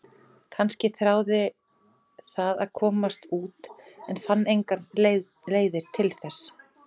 Hann gafst því upp með árunum og reyndi að sætta sig við ástandið.